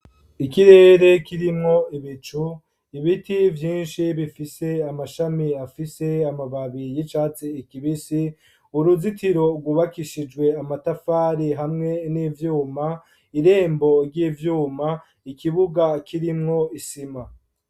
Ikirere ,kirimwo ibicu, Ibiti Vyinshi bifise Amashami afise amababi y'icatsi kibisi ,uruzitiro rwubakishijwe Amatafari ,hamwe n'ivyuma, irembo ry'ivyuma, ikibuga ,kirimwo, Isima.